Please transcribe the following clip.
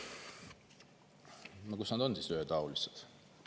No kus nad siis on ühetaolised?!